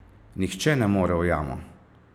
Nihče ne more v jamo!